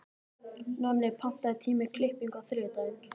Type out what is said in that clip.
Nonni, pantaðu tíma í klippingu á þriðjudaginn.